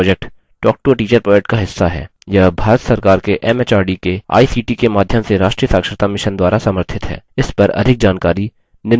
spoken tutorial project talktoateacher project का हिस्सा है यह भारत सरकार के एमएचआरडी के आईसीटी के माध्यम से राष्ट्रीय साक्षरता mission द्वारा समर्थित है